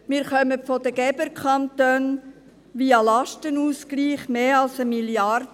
Wir bekommen von den Geberkantonen via Lastenausgleich mehr als 1 Mrd. Franken.